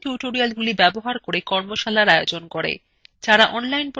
কথ্য tutorials ব্যবহার করে কর্মশালার আয়োজন করে